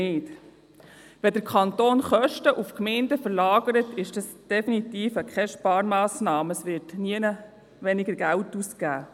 Wenn der Kanton Kosten auf die Gemeinden verlagert, ist das definitiv keine Sparmassnahme, denn es wird nirgends weniger Geld ausgegeben.